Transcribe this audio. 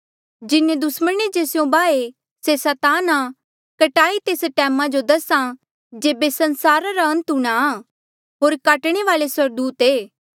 जिन्हें दुस्मणे जे स्यों बाहे से सैतान आ कटाई तेस टैमा जो दसा जेबे संसारा रा अंत हूंणा आ होर काटणे वाल्ऐ स्वर्गदूत ऐें